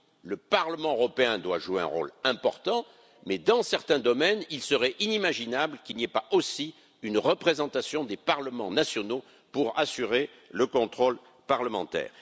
Le Parlement européen doit jouer un rôle important, mais dans certains domaines, il serait inimaginable qu'il n'y ait pas aussi une représentation des parlements nationaux pour assurer le contrôle parlementaire.